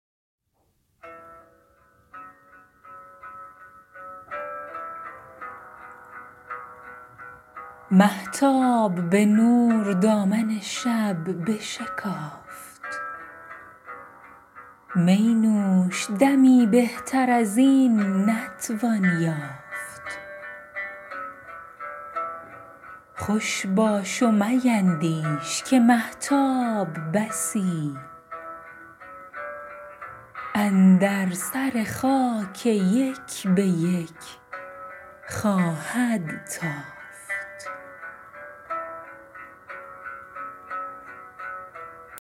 مهتاب به نور دامن شب بشکافت می نوش دمی بهتر از این نتوان یافت خوش باش و میندیش که مهتاب بسی اندر سر خاک یک به یک خواهد تافت